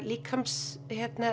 líkamstjáningu